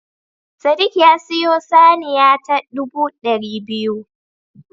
Sadiq ya siyo saniya ta ɗubu ɗari biyu